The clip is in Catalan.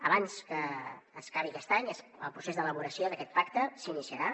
abans que s’acabi aquest any el procés d’elaboració d’aquest pacte s’iniciarà